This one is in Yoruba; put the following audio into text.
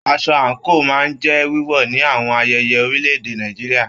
Aṣọ anko máa n jẹ wíwọ ní àwọn ayẹyẹ orílè-èdè Nàìjíríà.